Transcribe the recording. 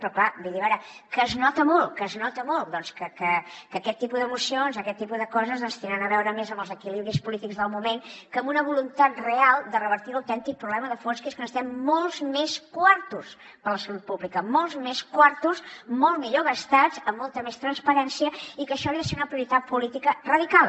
però clar vull dir a veure que es nota molt que es nota molt doncs que aquest tipus de mocions aquest tipus de coses tenen a veure més amb els equilibris polítics del moment que amb una voluntat real de revertir l’autèntic problema de fons que és que necessitem molts més quartos per a la salut pública molts més quartos molt millor gastats amb molta més transparència i que això hauria de ser una prioritat política radical